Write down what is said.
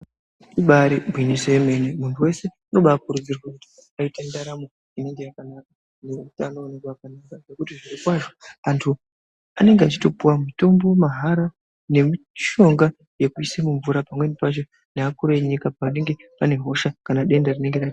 Ibari gwinyiso yemene munhu wese ano kurudzirwa kuti aite ndaramo inonga yakanaka neutano unonga wakanaka nekuti zviro kwazvo antu anenge achitopiwa mutombo mahara nemushonga yekuisa mumvura pamweni pacho nevakuru venyika panonga pane hosha kana denda rinenge ranetsa .